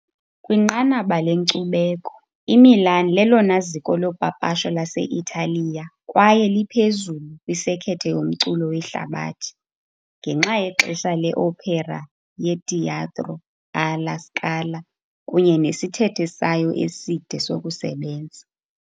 Kwinqanaba lenkcubeko, iMilan lelona ziko lopapasho lase-Italiya kwaye liphezulu kwisekethe yomculo wehlabathi ngenxa yexesha le-opera yeTeatro alla Scala kunye nesithethe sayo eside sokusebenza.